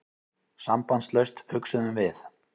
Sambandslaust, hugsuðum við.